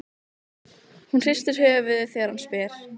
Hún hristir höfuðið þegar hann spyr.